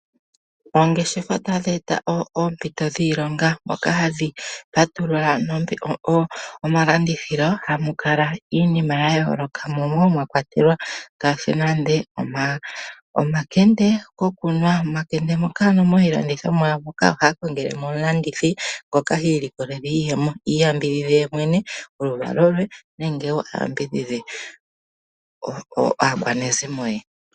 Oongeshefa tadhi eta oompito dhiilonga dho wo tadhi eta po omalandithilo moka hamu adhika iinima yayooloka mwa kwatelwa nande ngaashi omakende ohamu kongelwa omulandithi ngoka ta vulu okulanditha opo imonenemo iiyemo ye avule okukwatha oluvalo we nenge aakwanezimo.